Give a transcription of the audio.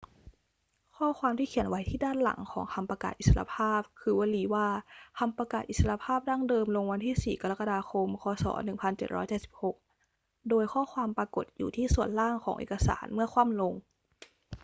ข้อความที่เขียนไว้ที่ด้านหลังของคำประกาศอิสรภาพคือวลีว่า คำประกาศอิสรภาพดั้งเดิม ลงวันที่ 4 กรกฎาคม ค. ศ. 1776 โดยข้อความปรากฏอยู่ที่ส่วนล่างของเอกสารเมื่อคว่ำลง